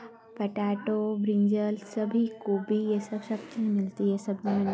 Potato brinjal सभी कोबी ये सब सब्जी मिलती है ।]